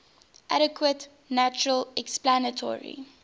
adequate natural explanatory